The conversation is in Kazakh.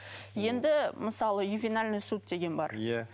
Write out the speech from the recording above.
енді мысалы ювинальный суд деген бар иә